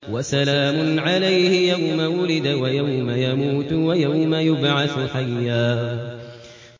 وَسَلَامٌ عَلَيْهِ يَوْمَ وُلِدَ وَيَوْمَ يَمُوتُ وَيَوْمَ يُبْعَثُ حَيًّا